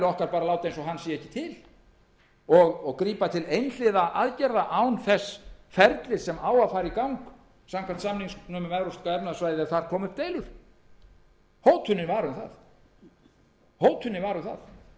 eins og hann sé ekki til og grípa til einhliða aðgerða án þess ferlis sem á að fara í gang samkvæmt samningnum um evrópska efnahagssvæðið ef þar koma upp deilur hótunin var um það